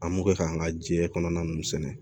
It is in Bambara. An mo kɛ ka an ka jiɲɛ kɔnɔna nunnu sɛnɛ